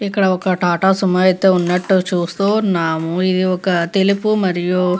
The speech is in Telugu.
ఇక్కడ ఒక టాటా సుమో అయితే ఉన్నట్టు చూస్తున్నావ్ ఇది ఒక తెలుపు మరియు --